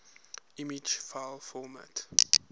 image file format